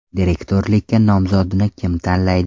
Direktorlikka nomzodni kim tanlaydi?